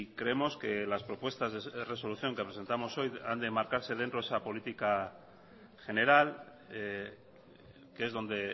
creemos que las propuestas de resolución que presentamos hoy han de marcarse dentro de esa política general que es donde